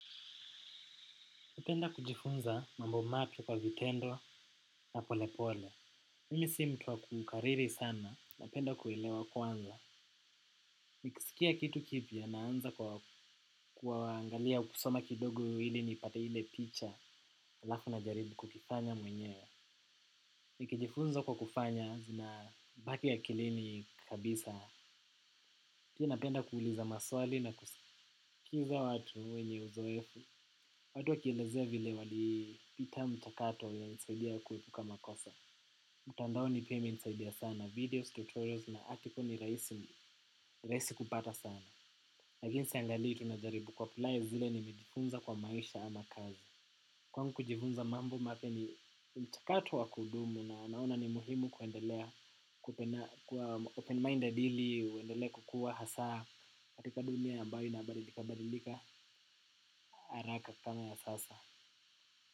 Napenda kujifunza mambo mapya kwa vitendo na polepole. Mimi si mtu wa kukariri sana. Napenda kuelewa kwanza. Nikisikia kitu kipya naanza kwa kuangalia kusoma kidogo ili nipate ile picha halafu najaribu kukifanya mwenyewe. Nikijifunza kwa kufanya zinabaki akilini kabisa. Pia napenda kuuliza maswali na kusikiza watu wenye uzoefu, watu wakielezea vile walipita mchakato inanisaidia kuepuka makosa. Mtandao ni pia imenisaidia sana videos tutorials na article ni rahisi ni rahisi kupata sana. Lakini siangalii tu najaribu kuapply zile nimejifunza kwa maisha ama kazi. Kwangu kujifunza mambo mapya ni mchakato wa kudumu na naona ni muhimu kuendelea kuwa open-minded ili uendelee kukua hasa katika dunia ambayo inabadilikabadilika haraka kama ya sasa.